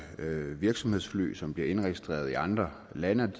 virksomhedsfly som bliver indregistreret i andre lande og